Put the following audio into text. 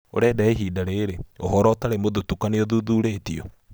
Ũrenda ya ihinda rĩrĩ, ũhoro ũtarĩ mũthutũkanie ũthuthurĩtio.